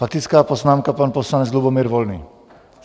Faktická poznámka, pan poslanec Lubomír Volný.